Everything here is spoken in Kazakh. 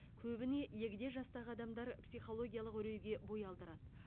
көбіне егде жастағы адамдар психологиялық үрейге бой алдырады